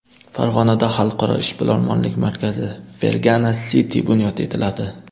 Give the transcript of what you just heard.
Farg‘onada xalqaro ishbilarmonlik markazi Fergana City bunyod etiladi.